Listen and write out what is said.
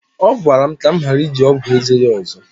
ọ gwara m ka m ghara iji ọgwụ eze ya ọzọ